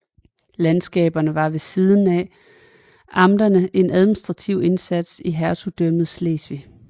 Landskaberne var ved siden af amterne en administrativ instans i Hertugdømmet Slesvig